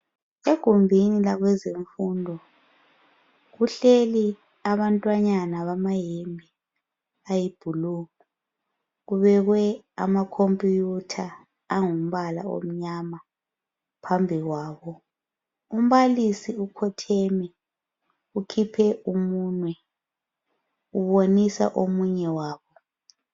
Egumbini lakwezemfundo kuhleli abantwanyana bama hembe ayi blue kubekwe ama computer angumpala omnyama phambili kwabiumbalisi okhotheme ukhiphe umunwe ubonisa omunye way